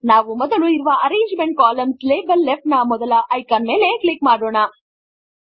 ನಾವು ಮೊದಲು ಇರುವ ಅರೇಂಜ್ಮೆಂಟ್ ಕಾಲಮ್ನಾರ್ - ಲೇಬಲ್ಸ್ ಲೆಫ್ಟ್ ನ ಮೊದಲ ಐಕಾನ್ ಮೇಲೆ ಕ್ಲಿಕ್ ಮಾಡೋಣ